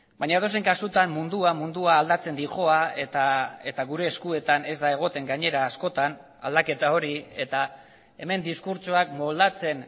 baina edozein kasutan mundua mundua aldatzen doa eta gure eskuetan ez da egoten gainera askotan aldaketa hori eta hemen diskurtsoak moldatzen